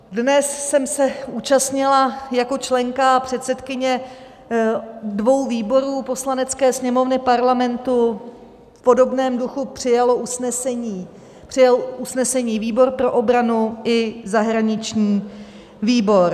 Dnes jsem se účastnila jako členka a předsedkyně dvou výborů Poslanecké sněmovny Parlamentu, v podobném duchu přijal usnesení výbor pro obranu i zahraniční výbor.